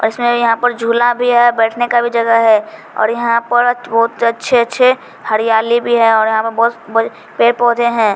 और इसमें यहाँ पर झूला भी है बैठने का भी जगह है और यहाँ पर बहोत ज अच्छे-अच्छे हरियाली भी है और यहाँ पर बहोत बड़े पेड़-पौधे हैं।